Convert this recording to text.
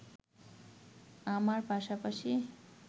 আমার পাশাপাশি